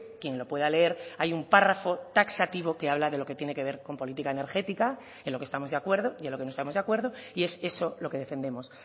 quien lo pueda leer hay un párrafo taxativo que habla de lo que tiene que ver con política energética en lo que estamos de acuerdo y en lo que no estamos de acuerdo y es eso lo que defendemos